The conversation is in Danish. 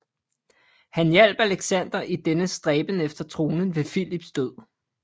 Han hjalp Alexander i dennes stræben efter tronen ved Filips død